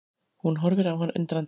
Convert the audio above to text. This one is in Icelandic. Hún horfir á hann undrandi.